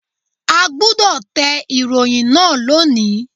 A gbúdọ̀ tẹ ìròyìn náà lónìí.